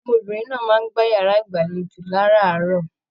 Ọmọbìnrin náà máa n gbà yàrá ìgbàlèjo láràárọ̀.